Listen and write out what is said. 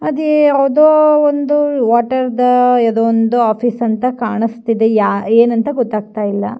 ಅದೇ ಯಾವ್ದೋ ಒಂದು ವಾಟೆರ್ದ್ ಒಂದ್ ಆಫೀಸ್ ಅಂತ ಕಾಣಿಸ್ತಿದೆ ಏನಂಥ ಗೊತ್ತಾಗ್ತಾ ಇಲ್ಲ.